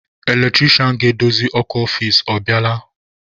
Eletrisha ga-edozi ọkụ ọfici, ọ bịala?